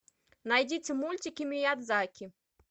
найдите мультики миядзаки